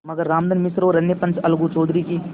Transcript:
मगर रामधन मिश्र और अन्य पंच अलगू चौधरी की